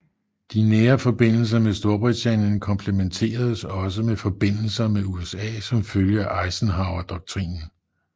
De nære forbindelser med Storbritannien kompletteredes også med forbindelser med USA som følge af Eisenhowerdoktrinen